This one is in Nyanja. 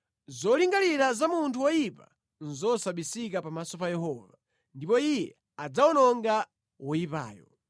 Zolingalira za munthu woyipa nʼzosabisika pamaso pa Yehova, ndipo Iye adzawononga woyipayo.